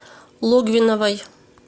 логвиновой